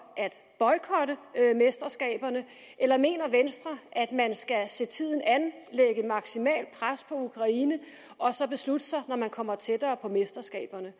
at boykotte mesterskaberne eller mener venstre at man skal se tiden an lægge maksimalt pres på ukraine og så beslutte sig når man kommer tættere på mesterskaberne